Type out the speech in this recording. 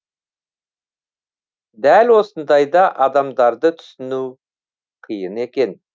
дәл осындайда адамдарды түсіну қиын екен